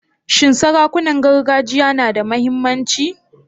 Shin sarakunan gargajiya na da muhimmanci?